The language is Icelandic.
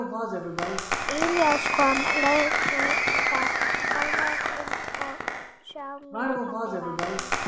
Í ljós kom leðurjakki, alveg eins og sá sem pabbi var í.